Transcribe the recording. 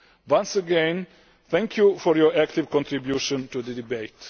Once again, thank you for your active contribution to the debate.